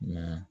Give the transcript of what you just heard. Nka